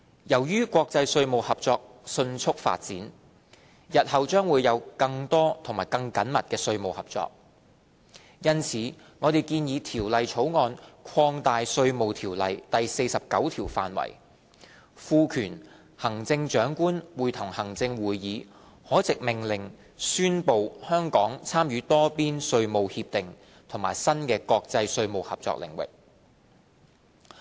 由於國際稅務合作迅速發展，日後將會有更多和更緊密的稅務合作，因此我們建議《條例草案》擴大《稅務條例》第49條範圍，賦權行政長官會同行政會議可藉命令宣布香港參與多邊稅務協定和新的國際稅務合作領域。